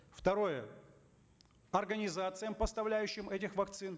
второе организациям поставляющим эти вакцины